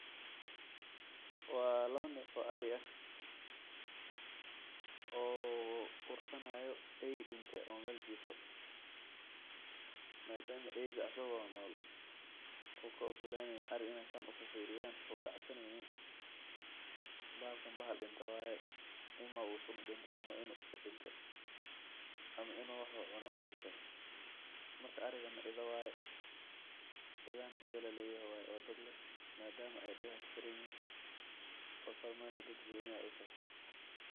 Wa lawo nef oo Ari ah , oo ursanayo ey dinte oo mel Jifo. Madama eyga asago nol ukaogolaneynin ari inaay San ufirfiriyan ukacabsaneynin , bahalkan bahal dinte waye. Ima u sun udinte ,ama Inu iskadinte ,ama Inu wax uu cune udinte. Marka arigana idha waye . Idhahana idha laleyahay waye oo dad leh madama ay dagaha kasaranyihin oo sumadna dad goni ah utaho.